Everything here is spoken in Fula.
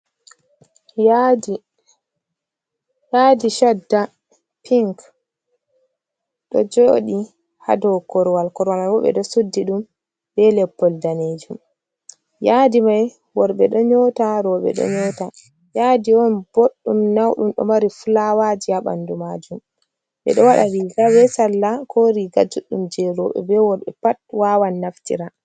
Yadi, yadi chadda pinc ɗo joɗi ha dou korwal korwaa man bo ɓeɗo suddi ɗum be leppol danejum, yadi mai worɓɓe ɗo nyota roɓɓe ɗo nyota, yaadi on boɗɗum nauɗum ɗo mari flawaji ha ɓandu majum, ɓeɗo waɗa viga be salla ko riga juɗɗum roɓɓe be worɓɓe pat wawan naftira.